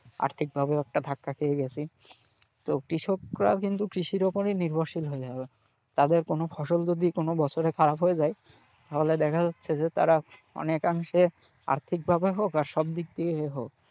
অর্থিকভাবেও একটা ধাক্কা খেয়ে গেছি, তো কৃষকরাও কিন্তু কৃষির ওপরই নির্ভরশীল হয়ে। তাদের কোন ফসল যদি কোন বছরে খারাপ হয়ে যায় তাহলে দেখা যাচ্ছে যে তারা অনেকাংশে আর্থিকভাবে হোক বা সবদিক দিয়ে হোক,